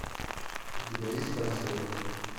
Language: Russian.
у тебя есть пансион